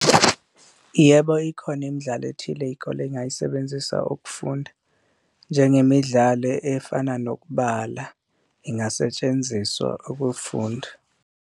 Yebo, ikhona imidlalo ethile iy'kole ey'ngayisebenzisa ukufunda njengemidlalo efana nokubala, ingasetshenziswa ukufunda.